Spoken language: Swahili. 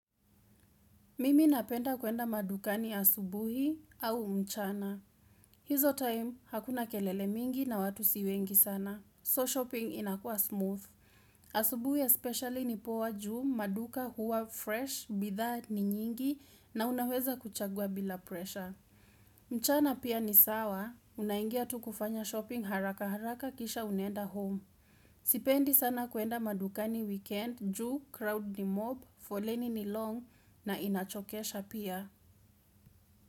Mimi napenda kuenda madukani asubuhi au mchana. Hizo time, hakuna kelele mingi na watu siwengi sana. So, shopping inakua smooth. Asubuhi especially ni poa juu maduka huwa fresh, bitha ni nyingi na unaweza kuchagua bila pressure. Mchana pia ni sawa. Unaingia tu kufanya shopping haraka haraka kisha unenda home. Sipendi sana kuenda madukani weekend, juu, crowd ni mob, foleni ni long na inachokesha pia.